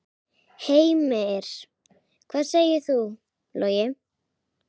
Heimir: Hvað segir þú, Logi?